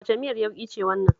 Wace miyar yauƙi ce wannan?